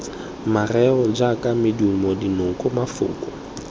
mareo jaaka medumo dinoko mafoko